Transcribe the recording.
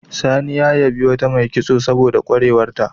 Sani ya yabi wata mai kitso saboda ƙwarewarta.